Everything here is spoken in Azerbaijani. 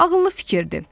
Ağıllı fikirdir.